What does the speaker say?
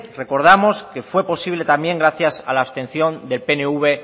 recordamos que fue posible también gracias a la abstención del pnv